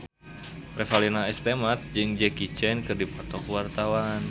Revalina S. Temat jeung Jackie Chan keur dipoto ku wartawan